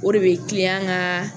O de bɛ ka